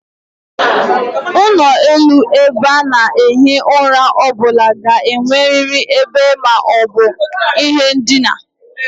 Onu ulo ebe a na-ehi ura o bula ga-eneriri ebe ma o bu ihe ndina